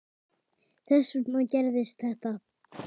Þess vegna gerðist þetta.